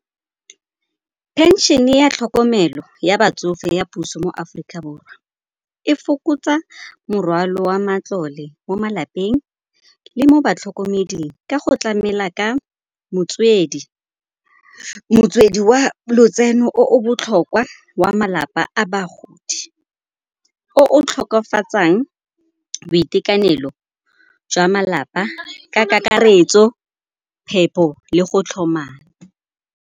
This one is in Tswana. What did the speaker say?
Phenšene ya tlhokomelo ya batsofe ya puso mo Aforika Borwa e fokotsa morwalo wa matlole mo malapeng le mo batlhokomeding ka go tlamela ka motswedi wa lotseno o botlhokwa wa malapa a bagodi. O o boitekanelo jwa malapa ka kakaretso phepho le go tlhoma.